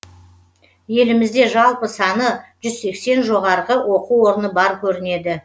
елімізде жалпы саны жүз сексен жоғарғы оқу орны бар көрінеді